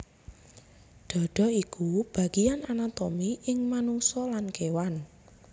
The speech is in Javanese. Dhadha iku bagéan anatomi ing manungsa lan kéwan